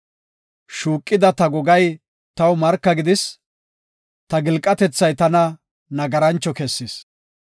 Shuuqida ta gogay taw marka gidis; ta gilqatethay tana nagarancho kessis.